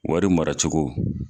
Wari mara cogo.